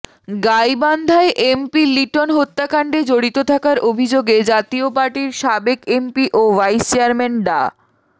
গাইবান্ধায় MP Liton হত্যাকাণ্ডে জড়িত থাকার অভিযোগে জাতীয় পার্টির সাবেক এমপি ও ভাইস চেয়ারম্যান ডা